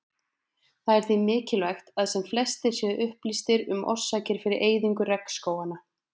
Það er því mikilvægt að sem flestir séu upplýstir um orsakir fyrir eyðingu regnskóganna.